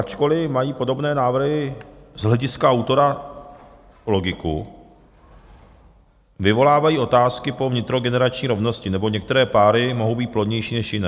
Ačkoliv mají podobné návrhy z hlediska autora logiku, vyvolávají otázky po vnitrogenerační rovnosti, neboť některé páry mohou být plodnější než jiné.